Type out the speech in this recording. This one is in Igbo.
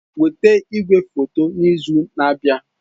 Weta igwefoto n'izu na-abịa!